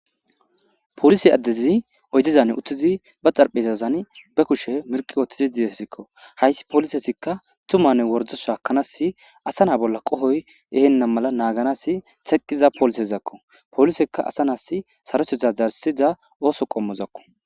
polisi addezi oydezan uttizi ba xarphesazan be kushe mirki wotizi diyesikko hayssi poolisesikka tumanne wordo shaakanasi asa na bolla qohoy ehenna mala naaganasi teqqiza polisezakko polisekka asa nas sarothetha darsiza ooso qommozakko